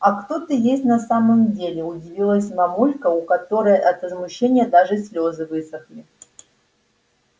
а кто ты есть на самом деле удивилась мамулька у которой от возмущения даже слезы высохли